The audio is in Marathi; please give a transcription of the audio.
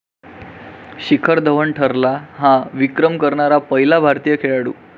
शिखर धवन ठरला 'हा' विक्रम करणारा पहिला भारतीय खेळाडू!